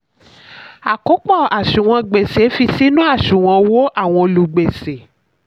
àkópọ̀: àṣùwọ̀n gbèsè fi sínú àṣùwọ̀n owó àwọn olùgbèsè.